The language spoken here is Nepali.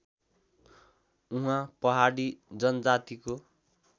उहाँ पहाडी जनजातिको